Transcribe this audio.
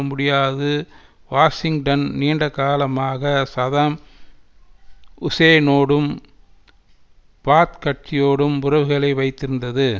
முடியாது வாஷிங்டன் நீண்ட காலமாக சதாம் ஹுசேனோடும் பாத் கட்சியோடும் உறவுகளை வைத்திருந்தது